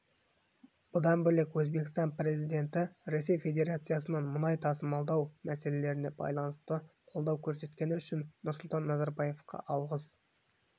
бұдан бөлек өзбекстан президенті ресей федерациясынан мұнай тасымалдау мәселесіне байланысты қолдау көрсеткені үшін нұрсұлтан назарбаевқа алғыс